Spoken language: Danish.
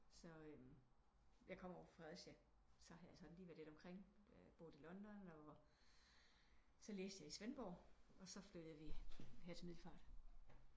Så eh jeg kommer jo fra Fredericia så har jeg sådan lige være lidt omkring boet i London og så læste jeg i Svendborg og flyttede vi her til Middelfart